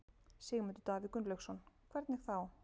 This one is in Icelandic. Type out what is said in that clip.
Sigmundur Davíð Gunnlaugsson: Hvernig þá?